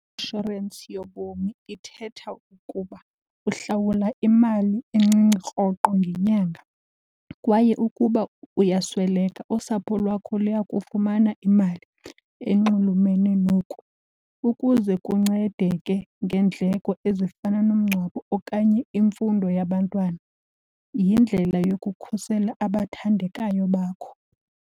Inshorensi yobomi ithetha ukuba uhlawula imali encinci rhoqo ngenyanga kwaye ukuba uyasweleka, usapho lwakho luyakufumana imali enxulumene noku ukuze kuncedeke ngeendleko ezifana nomngcwabo okanye imfundo yabantwana. Yindlela yokukhusela abathandekayo bakho.